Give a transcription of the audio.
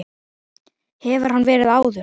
Hefur hann verið áður?